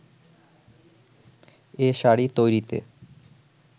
এ শাড়ি তৈরিতে